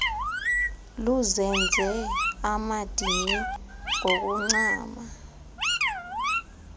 luzenze amadini ngokuncama